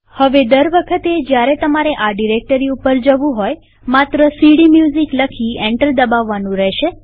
હવે દર વખતે જયારે તમારે આ ડિરેક્ટરી ઉપર જવું હોય માત્ર સીડીમ્યુઝિક લખી એન્ટર દબાવવાનું રહેશે